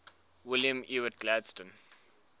william ewart gladstone